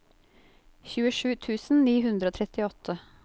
tjuesju tusen ni hundre og trettiåtte